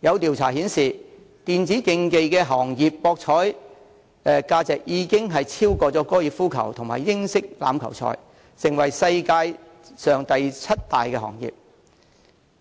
有調查顯示，電子競技行業的博彩價值已超越高爾夫球和英式欖球，成為世界上第七大行業，